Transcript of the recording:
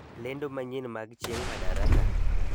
Lendo manyien mag chieng' madaraka